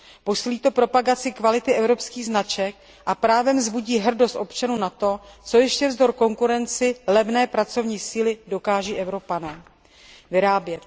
Posílí to propagaci kvality evropských značek a právem vzbudí hrdost občanů na to, co ještě vzdor konkurenci levné pracovní síly dokáží Evropané vyrábět.